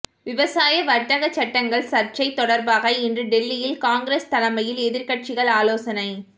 விவசாய வர்த்தக சட்டங்கள் சர்ச்சை தொடர்பாக இன்று டெல்லியில் காங்கிரஸ் தலைமையில் எதிர்க்கட்சிகள் ஆலோசனை